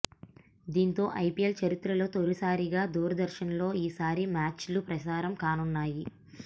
దీంతో ఐపీఎల్ చరిత్రలో తొలిసారిగా దూరదర్శన్లో ఈసారి మ్యాచ్లు ప్రసారం కానున్నాయి